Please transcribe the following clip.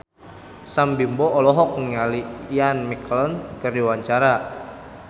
Sam Bimbo olohok ningali Ian McKellen keur diwawancara